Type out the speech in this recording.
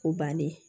O bannen